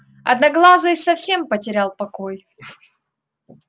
одноглазый совсем потерял покой